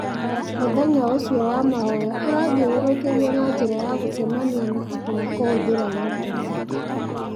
Mũcemanio ũcio wa mahoya ũrathiũrũrũkĩrio na njĩra ya gũcemania na andũ na kũhũthĩra ĩntaneti.